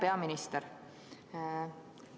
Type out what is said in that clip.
Hea peaminister!